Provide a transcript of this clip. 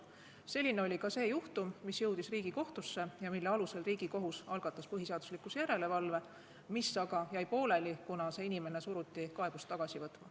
Selline oli ka see juhtum, mis jõudis Riigikohtusse ja mille alusel Riigikohus algatas põhiseaduslikkuse järelevalve menetluse, mis aga jäi pooleli, kuna see inimene suruti kaebust tagasi võtma.